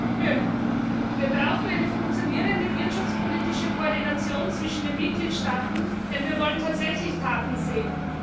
Herr Präsident! Wir brauchen eine funktionierende wirtschaftspolitische Koordination zwischen den Mitgliedstaaten, denn wir wollen tatsächlich Taten sehen.